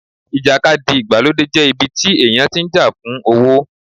ìjàkadì ìgbàlódé jẹ́ ibi tí èèyàn tí ń jà fún owó